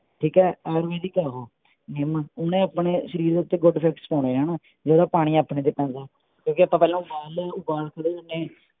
ਠੀਕ ਹੈ ਆਰਗੈਨਿਕ ਹੈ ਓਹੋ ਨਿੱਮ ਓਹਨੇ ਆਪਣੇ ਸ਼ਰੀਰ ਦੇ ਉੱਤੇ ਗੁਡ ਇਫ਼ੇਕ੍ਟ੍ਸ ਆ ਹਣਾ ਜਿਹੜਾ ਪਾਣੀ ਆਪਣੇ ਤੇ ਪੈਂਦੇ ਕਿਓਂਕਿ ਪਹਿਲਾਂ ਆਪਾਂ ਉਬਾਲ ਲਿਆ ਉਬਾਲ ਕੇ ਫੇਰ।